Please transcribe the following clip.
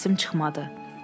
Səsim çıxmadı.